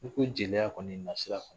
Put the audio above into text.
N'i ko jeliya kɔni nasira